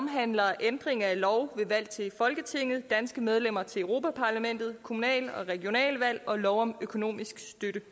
omhandler ændringer af lov om valg til folketinget danske medlemmer af europa parlamentet lov kommunale og regionale valg og lov om økonomisk støtte